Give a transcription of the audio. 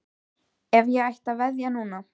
Ef ég ætti að veðja núna?